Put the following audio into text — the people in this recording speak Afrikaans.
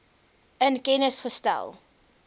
in kennis gestel